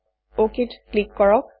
অক ত ক্লিক কৰক